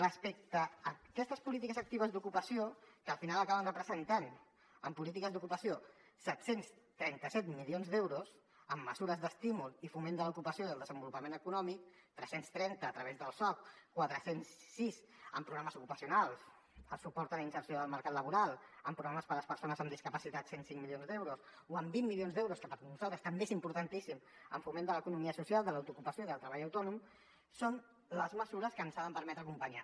respecte a aquestes polítiques actives d’ocupació que al final acaben representant en polítiques d’ocupació set cents i trenta set milions d’euros amb mesures d’estímul i foment de l’ocupació i el desenvolupament econòmic tres cents i trenta a través del soc quatre cents i sis en programes ocupacionals amb suport a la inserció del mercat laboral amb programes per a les persones amb discapacitat cent i cinc milions d’euros o amb vint milions d’euros que per nosaltres també és importantíssim en foment de l’economia social de l’autoocupació i del treball autònom són les mesures que ens han de permetre acompanyar